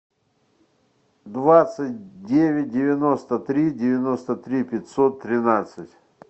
двадцать девять девяносто три девяносто три пятьсот тринадцать